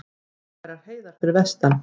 Ófærar heiðar fyrir vestan